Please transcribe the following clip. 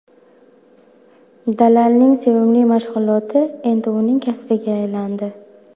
Dalalning sevimli mashg‘uloti endi uning kasbiga aylandi.